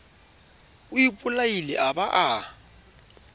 o ipolaile a ba a